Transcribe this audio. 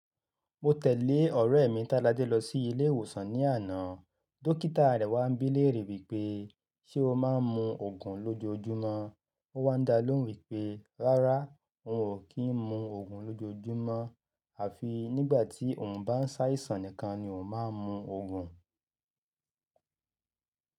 Mo tẹ̀lé ọ̀rẹ́ mi Tádé lọ sí ilé ìwòsàn ní àná. Dọ́kítà rẹ̀ wá ń bí léèrè wípé ṣé ó máa ń mu Ògùn lójú ojúmọ́? Ó wá ń dá lóhùn wípé rárá, òun ò kí ń mu Ògùn lójú ojúmọ́, àfi nígbà tí òun bá ń ṣàìsàn nìkan ni òun máa ń mu Ògùn.